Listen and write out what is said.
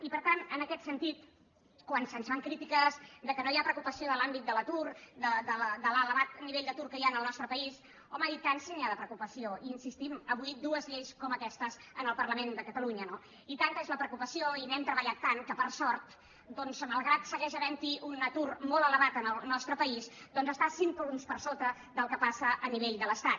i per tant en aquest sentit quan se’ns fan crítiques que no hi ha preocupació per l’àmbit de l’atur per l’elevat nivell d’atur que hi ha en el nostre país home i tant si n’hi ha de preocupació hi insistim avui dues lleis com aquestes en el parlament de catalunya no i tanta és la preocupació i n’hem treballat tant que per sort doncs malgrat que segueix havent hi un atur molt elevat en el nostre país està cinc punts per sota del que passa a nivell de l’estat